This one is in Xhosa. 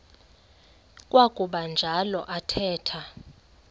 kwakuba njalo athetha